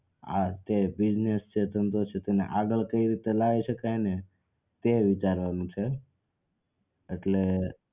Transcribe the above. આ જે business છે ધંધો છે એને આગળ કઈ રીતે લાઈ શકાય ને તે વિચારવાનું છે એટલે